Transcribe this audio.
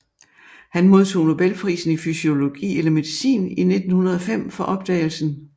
Han modtog Nobelprisen i fysiologi eller medicin i 1905 for opdagelsen